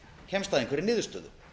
kemst að einhverri niðurstöðu